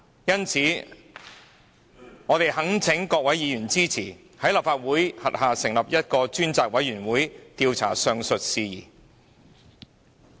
因此，我們懇請各位議員支持在立法會轄下成立一個專責委員會，調查上述事宜。